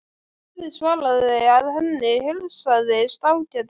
Daði svaraði að henni heilsaðist ágætlega.